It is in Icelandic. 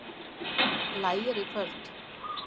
Lægir í kvöld